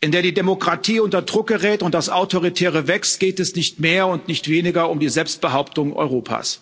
in der die Demokratie unter Druck gerät und das Autoritäre wächst, geht es um nicht mehr und nicht weniger als um die Selbstbehauptung Europas.